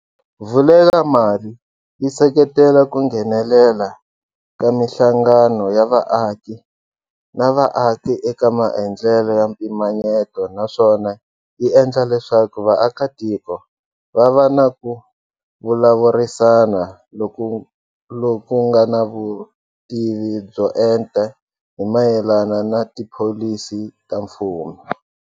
Vulekamali yi seketela ku nghenelela ka mihlangano ya vaaki na vaaki eka maendlelo ya mpimanyeto naswona yi endla leswaku vaakitiko va va na ku vulavurisana loku nga na vutivi byo enta hi mayelana na tipholisi ta mfumo.